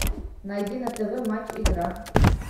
найди на тв матч игра